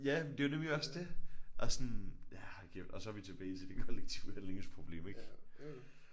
Ja men det er nemlig også det og sådan ja og så er vi tilbage til det kollektive handlingsproblem ik